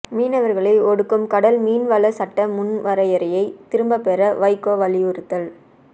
மீனவர்களை ஒடுக்கும் கடல் மீன்வள சட்ட முன்வரையை திரும்ப பெற வைகோ வலியுறுத்தல்